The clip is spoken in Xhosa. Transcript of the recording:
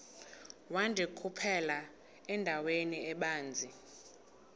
wandikhuphela endaweni ebanzi